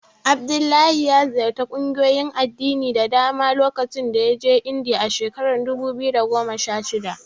Abdullahi ya ƙungiyoyin addini da dama lokacin da ya je Indiya a shekarar dubu biyu da goma sha shida.